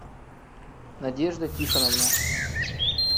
надежда тихоновна